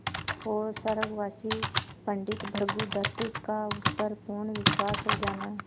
और स्वर्गवासी पंडित भृगुदत्त का उस पर पूर्ण विश्वास हो जाना